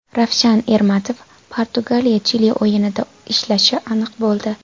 Ravshan Ermatov Portugaliya Chili o‘yinida ishlashi aniq bo‘ldi.